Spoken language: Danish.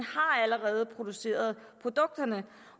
allerede har produceret produkterne